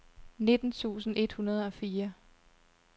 nitten tusind et hundrede og fire